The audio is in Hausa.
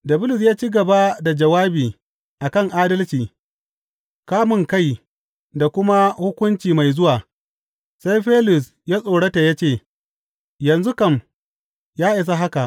Da Bulus ya ci gaba jawabi a kan adalci, kamunkai da kuma hukunci mai zuwa, sai Felis ya tsorata ya ce, Yanzu kam, ya isa haka!